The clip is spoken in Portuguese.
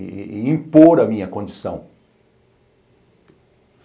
E e impor a minha condição.